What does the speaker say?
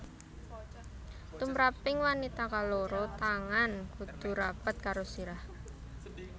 Tumraping wanita kaloro tangan kudu rapet karo sirah